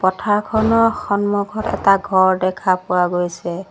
পথাৰখনৰ সন্মুখত এটা ঘৰ দেখা পোৱা গৈছে।